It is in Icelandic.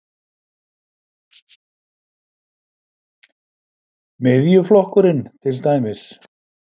Miðjuflokkurinn til dæmis?